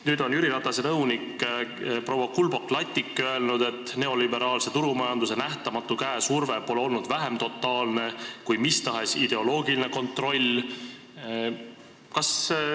Nüüd on Jüri Ratase nõunik proua Kulbok-Lattik öelnud, et neoliberaalse turumajanduse nähtamatu käesurve pole olnud vähem totaalne kui mis tahes ideoloogiline kontroll.